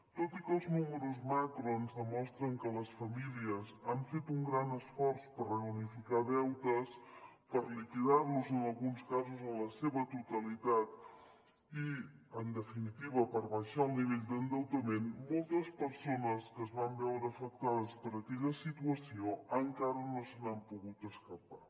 tot i que els números macro ens demostren que les famílies han fet un gran esforç per reunificar deutes per liquidar los en alguns casos en la seva totalitat i en definitiva per abaixar el nivell d’endeutament moltes persones que es van veure afectades per aquella situació encara no se n’han pogut escapar